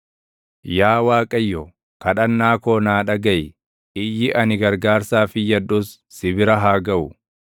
Yaa Waaqayyo, kadhannaa koo naa dhagaʼi; iyyi ani gargaarsaaf iyyadhus si bira haa gaʼu.